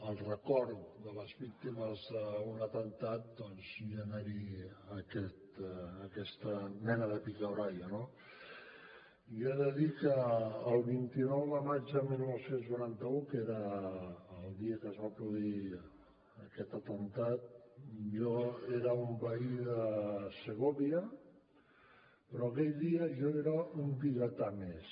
el record de les víctimes d’un atemptat doncs generi aquesta mena de picabaralla no jo he de dir que el vint nou de maig de dinou noranta u que era el dia que es va produir aquest atemptat jo era un veí de segovia però aquell dia jo era un vigatà més